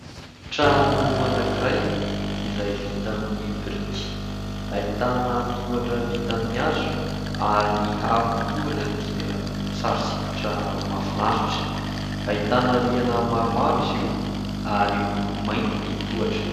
Trano anankiray izay vita amin'ny biriky, ahitana tohatra vita amin 'ny hazo ary ny haron ' ny tohatra dia sary sikotra mahafinaritra ahitana . Rihana maromaro izy io ary miloko mainty ny tohatra .